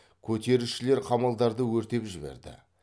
көтерілісшілер қамалдарды өртеп жіберді